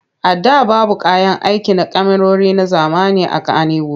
A da babu kayan aiki na kyamarori na zamani a Kanniwud.